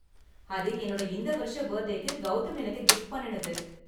அது என்னோட இந்த வருஷ பர்த்டேக்கு கௌதம் எனக்கு கிஃப்ட் பண்ணுனது.